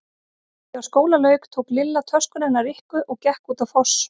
Þegar skóla lauk tók Lilla töskuna hennar Rikku og gekk út á Foss.